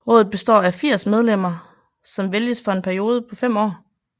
Rådet består af 80 medlemmer som vælges for en periode på 5 år